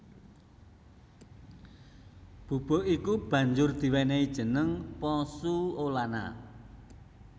Bubuk iku banjur diwènèhi jeneng pozzuolana